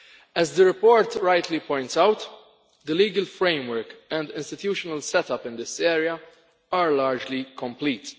As the report rightly points out, the legal framework and institutional set up in this area are largely complete.